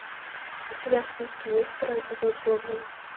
у тебя в списке есть второй эпизод гоблин